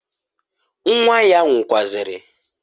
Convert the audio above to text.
Nwa ya nwukwazịrị.